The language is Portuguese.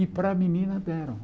E para a menina deram.